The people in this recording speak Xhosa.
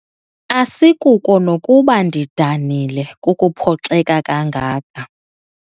Asikuko nokuba ndidanile kukuphoxeka kangaka.